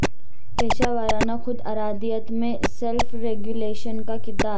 پیشہ ورانہ خود ارادیت میں سیلف ریگولیشن کا کردار